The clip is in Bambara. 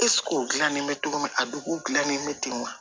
o gilannen bɛ cogo min a duguw dilannen bɛ ten wa